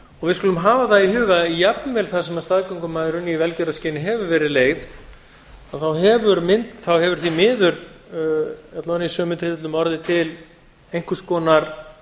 við skulum hafa það í huga að jafnvel þar sem staðgöngumæðrun í velgjörðarskyni hefur verið leyfð þá hefur því miður alla vega í sumum tilfellum orðið til einhvers konar